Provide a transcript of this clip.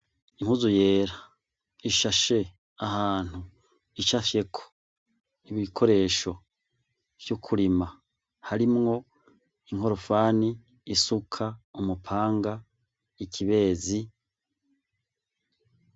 Impuzu yera ishashe ahantu icafyeko ibikoresho vy'ukurima harimwo inkorofani, isuka, umupanga, ikibezi.